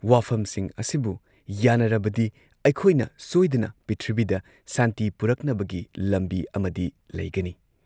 ꯋꯥꯐꯝꯁꯤꯡ ꯑꯁꯤꯕꯨ ꯌꯥꯟꯅꯔꯕꯗꯤ ꯑꯩꯈꯣꯏꯅ ꯁꯣꯏꯗꯅ ꯄ꯭ꯔꯤꯊꯤꯕꯤꯗ ꯁꯥꯟꯇꯤ ꯄꯨꯔꯛꯅꯕꯒꯤ ꯂꯝꯕꯤ ꯑꯃꯗꯤ ꯂꯩꯒꯅꯤ ꯫